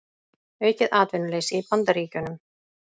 Aukið atvinnuleysi í Bandaríkjunum